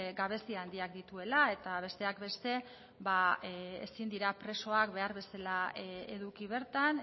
gabezi handiak dituela eta besteak beste ba ezin dira presoak behar bezala eduki bertan